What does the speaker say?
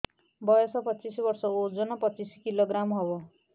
ବୟସ ପଚିଶ ବର୍ଷ ଓଜନ ପଚିଶ କିଲୋଗ୍ରାମସ ହବ